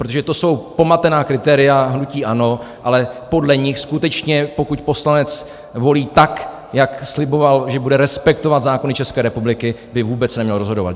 Protože to jsou pomatená kritéria hnutí ANO, ale podle nich skutečně, pokud poslanec volí tak, jak sliboval, že bude respektovat zákony České republiky, by vůbec neměl rozhodovat.